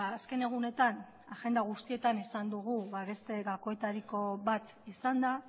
azken egunetan agenda guztietan esan dugu ba beste gakoetariko bat izan da